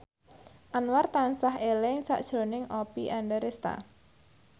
Anwar tansah eling sakjroning Oppie Andaresta